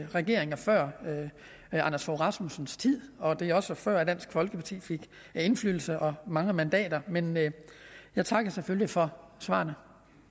regeringer før anders fogh rasmussens tid og det er også fra før dansk folkeparti fik indflydelse og mange mandater men men jeg takker selvfølgelig for svarene